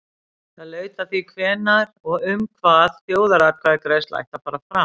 Það laut að því hvenær og um hvað þjóðaratkvæðagreiðsla ætti að fara fram.